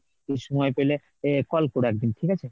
তুমি সময় পেলে এ call কোরো একদিন ঠিক আছে?